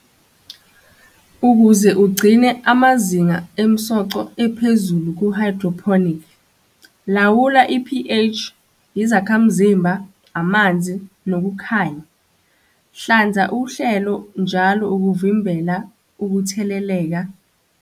Ukuze ugcine amazinga emsoco ephezulu ku-hydroponic. Lawula i-P_H, izakhamzimba, amanzi, nokukhanya. Hlanza uhlelo njalo ukuvimbela ukutheleleka.